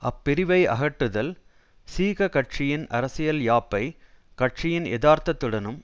அப்பிரிவை அகற்றுதல் சீககட்சியின் அரசியல் யாப்பை கட்சியின் யதார்த்தத்துடனும்